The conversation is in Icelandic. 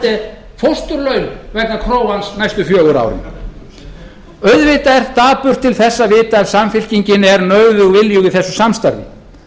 haarde fósturlaun vegna krógans næstu fjögur árin auðvitað er dapurt til þess að vita ef samfylkingin er nauðug viljug í þessu samstarfi